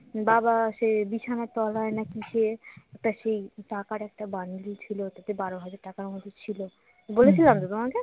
বাবা সেই বিছানার তলায় না কিসে একটা সেই টাকার একটা বান্ডিল ছিল তাতে বার হাজার টাকার মত ছিল বলেছিলাম তো তোমাকে